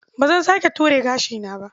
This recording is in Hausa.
Ba zan sake ture gashina ba.